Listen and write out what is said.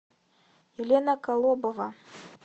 елена колобова